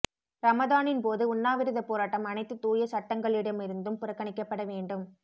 ரமதானின் போது உண்ணாவிரதப் போராட்டம் அனைத்து தூய சட்டங்களிடமிருந்தும் புறக்கணிக்கப்பட வேண்டும்